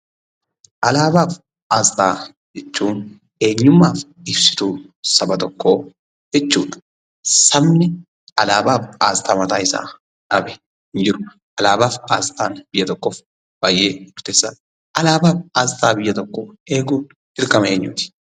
Alaabaa fi asxaa jechuun eenyummaa fi ibsituu saba tokkoo jechuudha. Sabni alaabaa fi asxaa mataasaa dhabe hin jiru. Alaabaa fi asxaan biyya tokkoof baay'ee murteessaadha. Alaabaa fi asxaa biyya tokkoo eeguun dirqama eenyuuti?